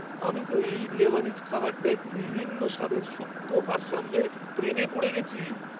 আমি তো এই লেবানিজ খাবারটায় বিভিন্ন স্বাদের সূক্ষ্ম ভারসাম্যের প্রেমে পড়ে গেছি।